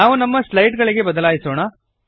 ನಾವು ನಮ್ಮ ಸ್ಲೈಡ್ ಗಳಿಗೆ ಬದಲಾಯಿಸೋಣ